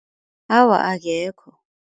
Awa akekho.